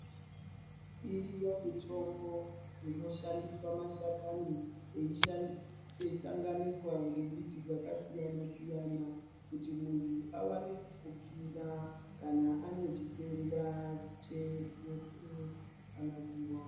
Iriyo mitombo inoshandiswa mashakani eishanganiswa nembiti dzakasiyana dziyana kuti muntu awane kufukira kana ane chitenda chefuruu kana dzihwa.